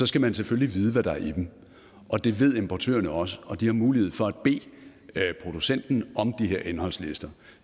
skal man selvfølgelig vide hvad der er i dem og det ved importørerne også og de har mulighed for at bede producenten om de her indholdslister